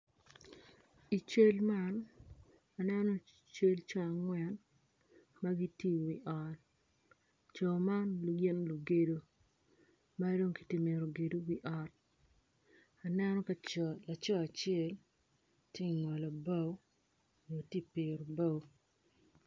I cal man aneno cal coo angwen magitye iwi ot coo man gin lugedo madong gitye ka mito gedo wi ot aneno laco acel tye ingolo bao nyo tye ka piro bao